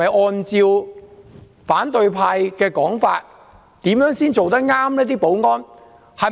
按反對派的說法，保安人員怎樣做才算妥當呢？